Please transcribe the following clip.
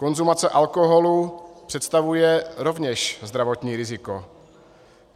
Konzumace alkoholu představuje rovněž zdravotní riziko.